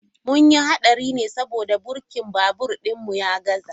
Mun yi hadari ne saboda birkin babur din ya gaza.